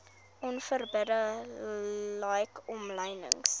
onverbidde like omlynings